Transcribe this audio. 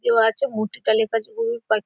কেউ আছে মূর্তিটায় লেখা আছে গুরুর পার্ক ।